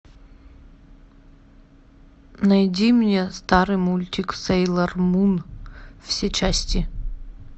найди мне старый мультик сейлор мун все части